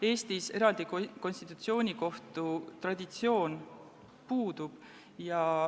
Eestis eraldi konstitutsioonikohtu traditsioon puudub.